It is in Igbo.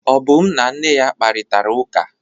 Obum na nne ya kparịtara ụka.